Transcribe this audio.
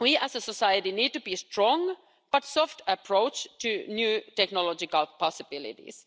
We as a society need to adopt a strong but soft approach to new technological possibilities.